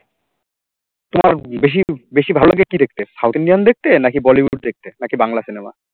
তোমার বেশি বেশি ভালো লাগে কি দেখতে south Indian দেখতে নাকি bollywood দেখতে নাকি বাংলা cinema